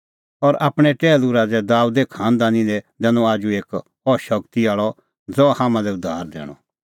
और आपणैं टैहलू राज़ै दाबेदे खांनदानी दी दैनअ आजू एक इहअ शगती आल़अ ज़हा हाम्हां लै उद्धार दैणअ